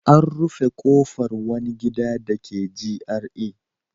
A rufe kofar wani gida dake GRA.